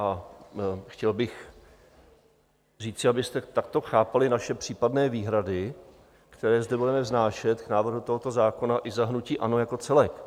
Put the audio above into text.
A chtěl bych říci, abyste takto chápali naše případné výhrady, které zde budeme vznášet k návrhu tohoto zákona i za hnutí ANO jako celek.